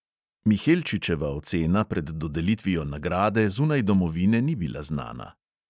Mihelčičeva ocena pred dodelitvijo nagrade zunaj domovine ni bila znana.